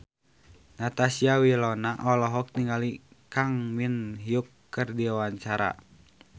Natasha Wilona olohok ningali Kang Min Hyuk keur diwawancara